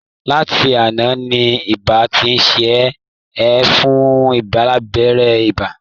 Láti àná ni iba ti ń ṣe é, ẹ fún-un lábẹ́rẹ́ ibà!